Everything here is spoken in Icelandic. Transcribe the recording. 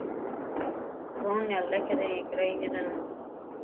Ronja, lækkaðu í græjunum.